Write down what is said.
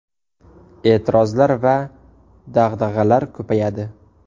E’tirozlar va dag‘dag‘alar ko‘payadi.